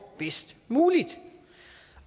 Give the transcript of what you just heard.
bedst muligt